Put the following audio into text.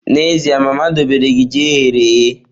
N'ezie, mama dobere gi ji eghere eghe.